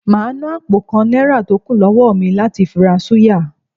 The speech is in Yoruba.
Màá ná àpò kan Náírà tó kù lọ́wó mi láti fi ra súyà